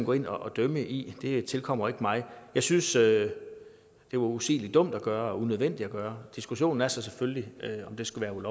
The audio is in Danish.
gå ind og dømme i det tilkommer ikke mig jeg synes at det var usigelig dumt at gøre og unødvendigt at gøre diskussionen er så selvfølgelig om det skulle